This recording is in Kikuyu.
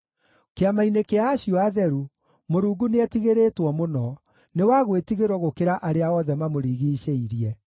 Kĩama-inĩ kĩa acio atheru, Mũrungu nĩetigĩrĩtwo mũno; nĩ wa gwĩtigĩrwo gũkĩra arĩa othe mamũrigiicĩirie.